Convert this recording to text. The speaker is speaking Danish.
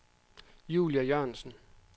Julie Jørgensen